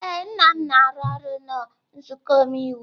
Ee, nna m na-arụ ọrụ na nzuko omeiwu.